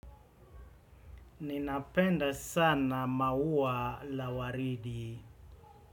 Ninapenda sana maua la waridi.